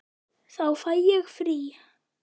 Þá fæ ég frí.